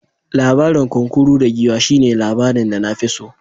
Labarin kunkuru da giwa shine labarin da na fi so.